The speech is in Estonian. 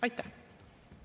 Aitäh!